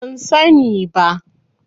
Ban sani ba.